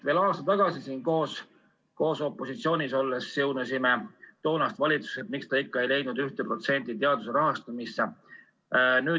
Veel aasta tagasi koos opositsioonis olles siunasime toonast valitsust, miks ta ikka ei leidnud 1% teaduse rahastamisse.